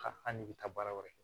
Ka an n'i bɛ taa baara wɛrɛ kɛ